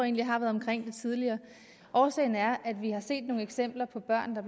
jeg har været omkring det tidligere årsagen er at vi har set nogle eksempler på børn der